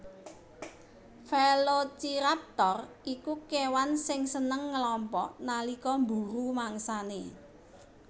Velociraptor iku kèwan sing seneng ngelompok nalika mburu mangsanè